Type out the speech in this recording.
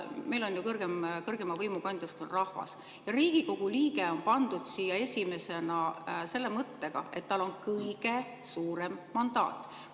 Meil ju kõrgeima võimu kandja on rahvas ja Riigikogu liige on pandud siia esimesena selle mõttega, et tal on kõige suurem mandaat.